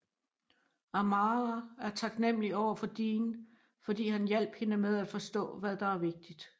Amara er taknemmelig overfor Dean fordi han hjalp hende med at forstå hvad der er vigtigt